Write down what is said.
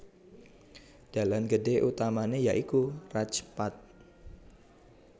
Dalan gedhé utamané ya iku Raj Path